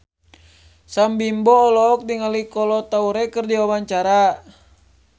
Sam Bimbo olohok ningali Kolo Taure keur diwawancara